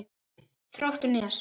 Þróttur Nes.